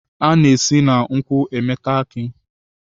A na-esi na nkwu emeta aki.